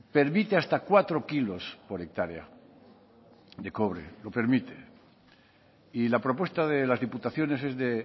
permite hasta cuatro kilos por hectárea de cobre lo permite y la propuesta de las diputaciones es de